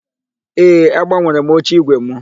Ee, agbanwere m oche ígwè mụ.